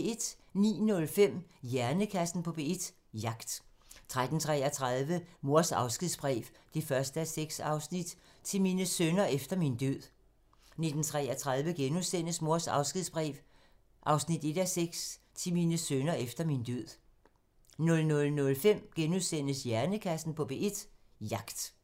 09:05: Hjernekassen på P1: Jagt 13:33: Mors afskedsbrev 1:6 – Til mine sønner efter min død 19:33: Mors afskedsbrev 1:6 – Til mine sønner efter min død * 00:05: Hjernekassen på P1: Jagt *